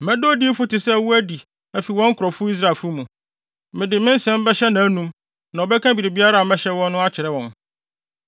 Mɛda odiyifo te sɛ wo adi afi wɔn nkurɔfo Israelfo mu. Mede me nsɛm bɛhyɛ nʼanom, na ɔbɛka biribiara a mɛhyɛ wɔn no akyerɛ wɔn.